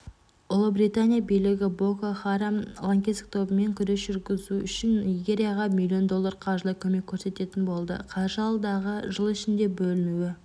ұлыбритания билігі боко харам лаңкестік тобымен күрес жүргізу үшін нигерияға миллион доллар қаржылай көмек көрсететін болды қаржы алдағы жыл ішінде бөлінуі